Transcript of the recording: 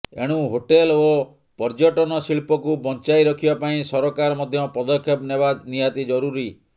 ଏଣୁ ହୋଟେଲ ଓ ପର୍ଯ୍ୟଟନ ଶିଳ୍ପକୁ ବଞ୍ଚାଇ ରଖିବା ପାଇଁ ସରକାର ମଧ୍ୟ ପଦକ୍ଷେପ ନେବା ନିହାତି ଜରୁରୀ